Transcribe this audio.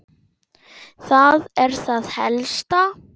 Það er það helsta.